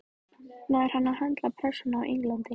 Nær hann að höndla pressuna á Englandi?